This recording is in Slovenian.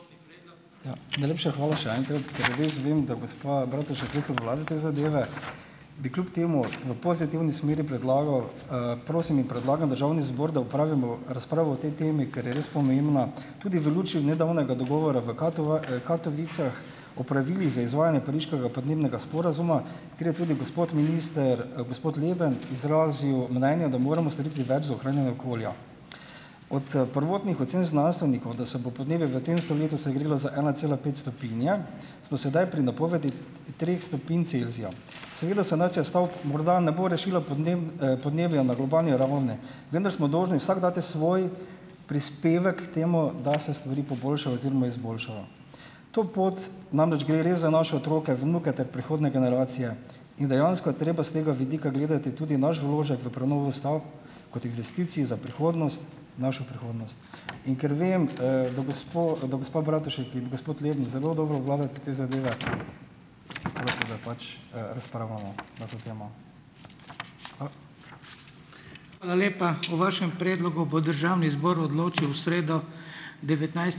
Ja, najlepša hvala še enkrat. Ker res vem, da gospa Bratušek, res obvlada te zadeve, bi kljub temu v pozitivni smeri predlagal, prosim in predlagam, državni zbor, da opravimo razpravo o tej temi, ker je res pomembna tudi v luči nedavnega dogovora v v Katovicah o pravilih za izvajanje Pariškega podnebnega sporazuma, kjer je tudi gospod minister, gospod Leben, izrazil mnenje, da moramo storiti več za ohranjanje okolja. Od prvotnih ocen znanstvenikov, da se bo podnebje v tem stoletju segrelo za ena cela pet stopinje, smo sedaj pri napovedi treh stopinj Celzija. Seveda sanacija stavb morda ne bo rešila podnebja na globalni ravni, vendar smo dolžni vsak dati svoj prispevek k temu, da se stvari poboljšajo oziroma izboljšajo. To pot - namreč gre res za naše otroke, vnuke ter prihodnje generacije in dejansko je treba s tega vidika gledati tudi naš vložek v prenovo stavb, kot investicije za prihodnost. Našo prihodnost. In ker vem, da gospo da gospa Bratušek in gospod Leben zelo dobro obvladata te zadeve - prosil, da pač, razpravljamo na to temo.